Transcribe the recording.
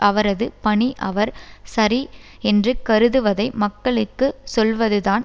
அவரது பணி அவர் சரி என்று கருதுவதை மக்களுக்கு சொல்வதுதான்